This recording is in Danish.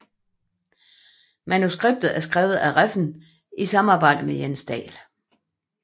Manuskriptet er skrevet af Refn i samarbejde med Jens Dahl